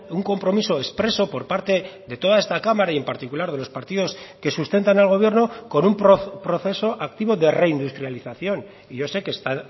un compromiso expreso por parte de toda esta cámara y en particular de los partidos que sustentan al gobierno con un proceso activo de reindustrialización y yo sé que está